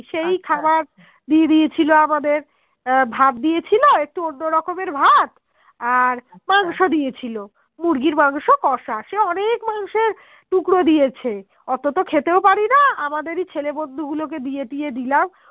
আহ ভাত দিয়ে ছিল আর একটু অন্য রকমের ভাত আর মাংস দিয়েছিলো মুরগির মাংস কষা সে অনেক মাংসের টুকরো দিয়েছে অত তো খেতেও পারিনা আমাদেরই এই ছেলে বন্ধু গুলো কে দিয়ে দিয়ে দিলাম